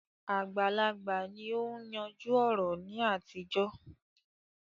Àgbàlagbà ni ó ń yanjú ọ̀rọ̀ ní àtijọ́